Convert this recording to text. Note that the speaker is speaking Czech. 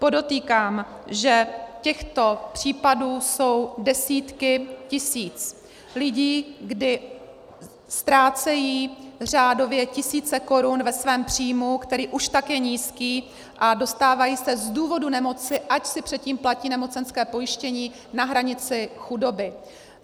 Podotýkám, že těchto případů jsou desítky tisíc lidí, kdy ztrácejí řádově tisíce korun ve svém příjmu, který už tak je nízký, a dostávají se z důvodu nemoci, ač si předtím platí nemocenské pojištění, na hranici chudoby.